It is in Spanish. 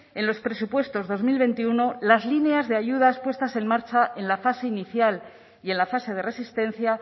en los presupuestos dos mil veintiuno las líneas de ayudas puestas en marcha en la fase inicial y en la fase de resistencia